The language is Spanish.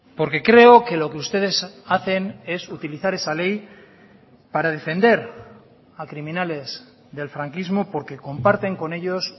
porque creo que lo que ustedes hacen es utilizar esa ley para defender a criminales del franquismo porque comparten con ellos